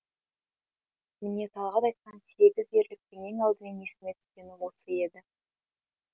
міне талғат айтқан сегіз ерліктің ең алдымен есіме түскені осы еді